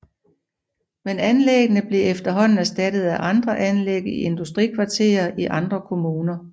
Men anlæggene blev efterhånden erstattet af andre anlæg i industrikvarterer i andre kommuner